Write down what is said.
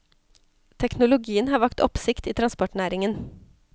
Teknologien har vakt oppsikt i transportnæringen.